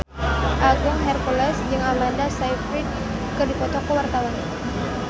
Agung Hercules jeung Amanda Sayfried keur dipoto ku wartawan